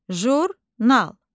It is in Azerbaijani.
Jurnal.